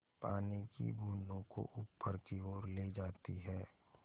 पानी की बूँदों को ऊपर की ओर ले जाती है